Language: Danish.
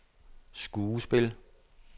skuespil